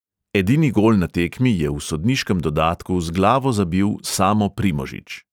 Edini gol na tekmi je v sodniškem dodatku z glavo zabil samo primožič.